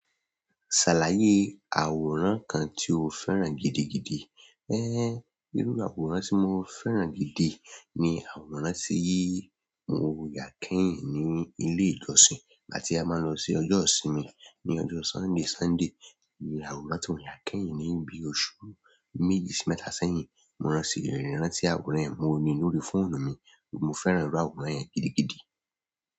Ṣàlàyé àwòrán kan tí o fẹ́ràn gidigidi. Irú àwòrán tí mo fẹ́ràn gidi ni àwòrán tí mo ya kẹ́yìn ní ilé ìjọsìn ìgbà ti a máa lọ sí ọjọ́ ìsinmi ní ọjọ́ Sunday, Sunday. Ìrù àwòrán tí mo ya kẹ́yìn ní bí i oṣù méjì sí mẹ́ta sẹ́yìn. Mo ránṣẹ́ rántí àwòrán yẹn mọ́ ní lórí fóònù mi. Mo fẹ́ràn irú àwòrán yẹn gidigidi.